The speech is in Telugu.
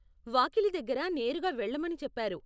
వాకిలి దగ్గర నేరుగా వెళ్ళమని చెప్పారు.